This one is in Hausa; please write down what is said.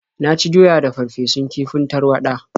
Na ci doya da farfesun kifin tarwaɗa.